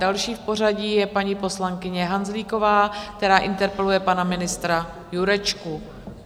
Další v pořadí je paní poslankyně Hanzlíková, která interpeluje pana ministra Jurečku.